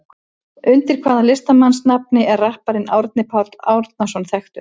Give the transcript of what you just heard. Undir hvaða listamannsnafni er rapparinn Árni Páll Árnason þekktur?